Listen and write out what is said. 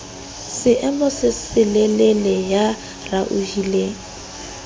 seemo se selelele ya raohileng